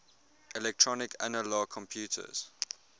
electronic analog computers